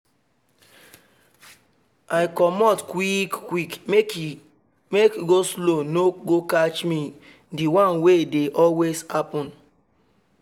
i comot quick quick make go-slow no go catch me the one wey dey always happen